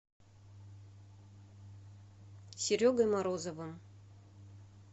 серегой морозовым